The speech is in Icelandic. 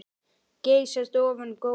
Geysast ofan góminn.